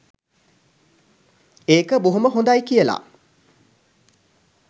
ඒක බොහොම හොඳයි කියලා.